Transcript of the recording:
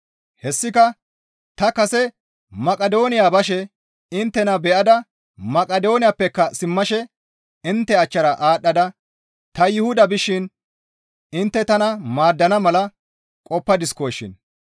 Hessika ta kase Maqidooniya bashe inttena beyada Maqidooniyappeka simmashe intte achchara aadhdhada ta Yuhuda bishin intte tana maaddana mala qoppadiskoshin.